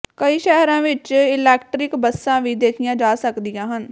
ਕਈ ਸ਼ਹਿਰਾਂ ਵਿੱਚ ਇਲੈਕਟਰਿਕ ਬੱਸਾਂ ਵੀ ਦੇਖੀਆਂ ਜਾ ਸਕਦੀਆਂ ਹਨ